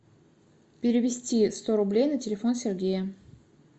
перевести сто рублей на телефон сергея